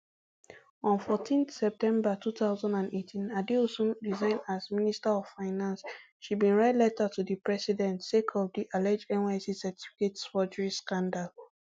on fourteen september two thousand and eighteen adeosun resign as minister of finance she bin write letter to di president sake of di alleged nysc certificate forgery scandal